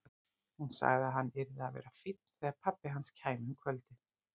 Hún sagði að hann yrði að vera fínn þegar pabbi hans kæmi um kvöldið.